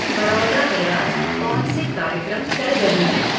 बड़ौदा में आज कौन से कार्यक्रम चल रहे हैं